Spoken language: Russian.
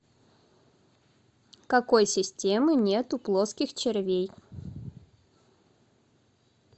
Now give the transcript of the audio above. какой системы нет у плоских червей